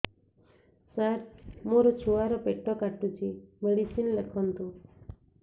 ସାର ମୋର ଛୁଆ ର ପେଟ କାଟୁଚି ମେଡିସିନ ଲେଖନ୍ତୁ